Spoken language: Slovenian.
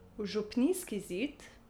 V župnijski zid?